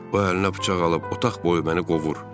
O əlinə bıçaq alıb otaq boyu məni qovur.